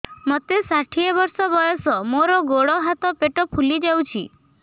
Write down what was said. ମୋତେ ଷାଠିଏ ବର୍ଷ ବୟସ ମୋର ଗୋଡୋ ହାତ ପେଟ ଫୁଲି ଯାଉଛି